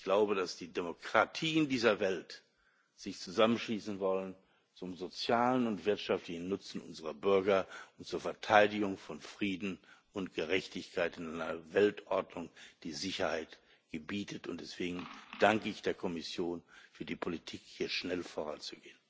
Ich glaube, dass die Demokratien dieser Welt sich zusammenschließen sollen zum sozialen und wirtschaftlichen Nutzen unserer Bürger und zur Verteidigung von Frieden und Gerechtigkeit in einer Weltordnung, die Sicherheit gebietet, und deswegen danke ich der Kommission für die Politik, hier schnell voranzugehen.